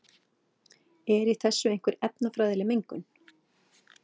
er í þessu einhver efnafræðileg mengun